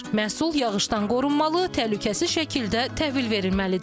Məhsul yağışdan qorunmalı, təhlükəsiz şəkildə təhvil verilməlidir.